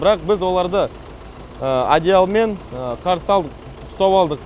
бірақ біз оларды одеялмен қарсы алдық ұстап алдық